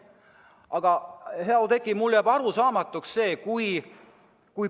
Aga, hea Oudekki, mulle jääb üks asi arusaamatuks.